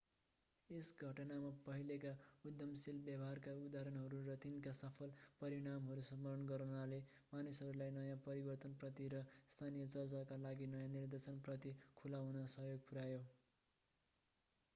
यस घटनामा पहिलेका उद्यमशील व्यवहारका उदाहरणहरू र तिनका सफल परिणामहरू स्मरण गर्नाले मानिसहरूलाई नयाँ परिवर्तनप्रति र स्थानीय चर्चका लागि नयाँ निर्देशन प्रति खुला हुन सहयोग पुर्‍यायो।